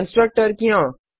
constructor क्यों